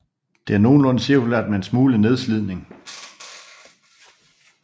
Det er nogenlunde cirkulært med en smule nedslidning